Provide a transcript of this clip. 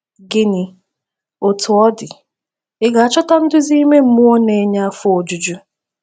Gịnị, Otú ọ dị, ị ga-achọta nduzi ime mmụọ na-enye afọ ojuju?